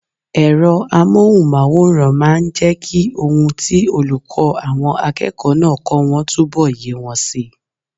Ẹ̀rọ amóhùnmáwòrán máa n jẹ́ kí ohun tí olùkọ́ àwọn akẹ́kọ̀ọ́ náà kọ́ wọn túnbọ̀ yé wọn si